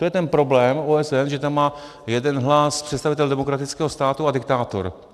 To je ten problém OSN, že tam má jeden hlas představitel demokratického státu a diktátor.